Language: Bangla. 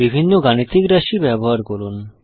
বিভিন্ন গাণিতিক রাশি ব্যবহার করুন